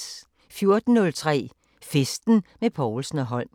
14:03: Festen med Povlsen & Holm